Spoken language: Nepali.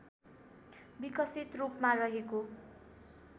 विकसित रूपमा रहेको